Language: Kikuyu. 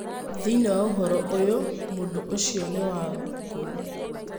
Thĩiniĩ wa ũhoro ũyũ, mũndũũcio nĩ wangũ.